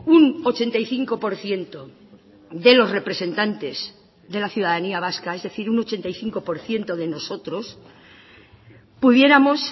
un ochenta y cinco por ciento de los representantes de la ciudadanía vasca es decir un ochenta y cinco por ciento de nosotros pudiéramos